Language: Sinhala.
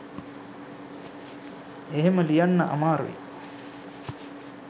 එහෙම ලියන්න අමාරුයි